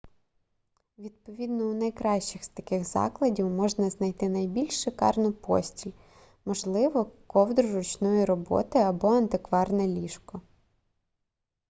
відповідно у найкращих з таких закладів можна знайти найбільш шикарну постіль можливо ковдру ручної роботи або антикварне ліжко